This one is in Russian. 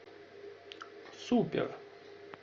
супер